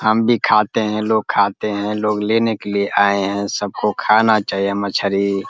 हम भी खाते हैं। लोग खाते हैं। लोग लेने के लिए आये हैं। सब को खाना चाहिए मछरी ।